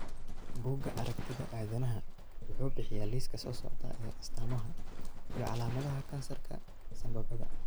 Bugga Aragtiyaha Aanadanaha wuxuu bixiyaa liiska soo socda ee astamaha iyo calaamadaha kansarka sanbabada.